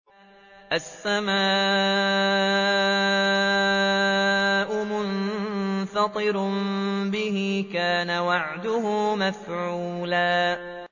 السَّمَاءُ مُنفَطِرٌ بِهِ ۚ كَانَ وَعْدُهُ مَفْعُولًا